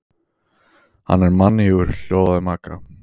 Hann er mannýgur hljóðaði Magga.